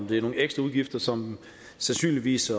det er nogle ekstra udgifter som sandsynligvis